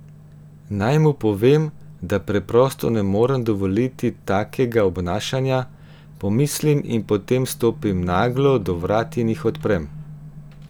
Naj mu povem, da preprosto ne morem dovoliti takega obnašanja, pomislim in potem stopim naglo do vrat in jih odprem.